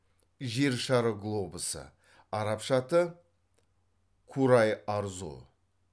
жер шары глобусы арабша аты курай арзу